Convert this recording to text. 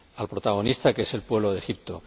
Al protagonista, que es el pueblo de Egipto.